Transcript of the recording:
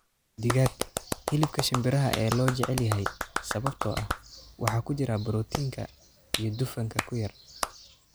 Digaag: Hilibka shimbiraha ee loo jecel yahay sababtoo ah waxa ku jira borotiinka iyo dufanka ku yar.